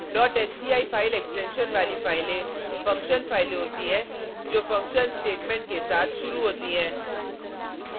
sci file extension वाली फाइलें function फाइलें होती हैं जो फंक्शन स्टेटमेंट के साथ शुरू होती हैं